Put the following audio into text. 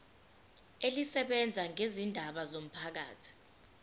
elisebenza ngezindaba zomphakathi